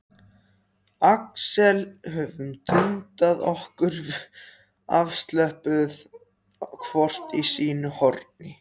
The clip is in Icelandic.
Axel höfum dundað okkur afslöppuð hvort í sínu horni.